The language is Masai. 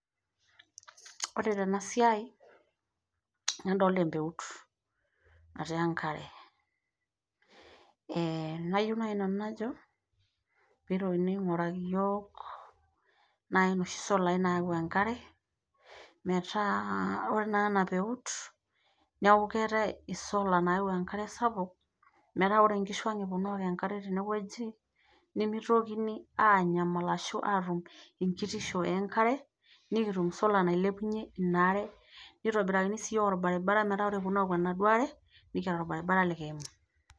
Ore tena siai nadolita embeut, natii enkare nayiu naaji nanu najo peyie eitokini ainguraki iyiook nai inoshi solai naau enkare, metaa ore tanakata ena peut neeku keetai sola nayau enkare sapuk metaa ore inkishuang' eponu aaok enkare tene oji, nimitokini anyamal ashuu aatum kitisho enkare, nikitum sola nailepunye ina are nikitum sii olbaribara metaa ore eponunui aok enaduo are nikiata olbaribara likiimu.